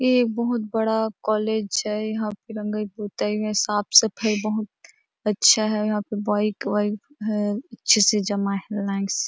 ये एक बहुत बड़ा कॉलेज है यहाँ पे रंगाई पोताई में साफ़ सफाई बहुत अच्छा है यहाँ पे बाइक वाइक है अच्छे से जमा है लाइन से --